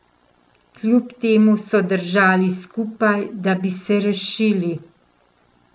Kljub temu so držali skupaj, da bi se rešili.